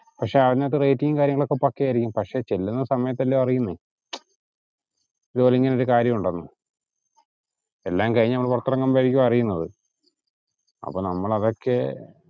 പക്ഷെ അതിനകത്തു rate ഉം കാര്യങ്ങളും ഒക്കെ പക്കെയായിരിക്കും പക്ഷെ ചെല്ലുന്ന സമയത്തല്ലിയോ അറിയുന്നത് ഇതുപോലിങ്ങനൊരു കാര്യം ഉണ്ടെന്ന്. എല്ലാം കഴിഞ്ഞു നമ്മൾ പുറത്തിറങ്ങുമ്പോഴാരിക്കും അറിയുന്നത് അപ്പൊ നമ്മൾ അതൊക്കെ